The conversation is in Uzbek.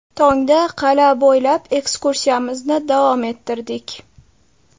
Tongda qal’a bo‘ylab ekskursiyamizni davom ettirdik.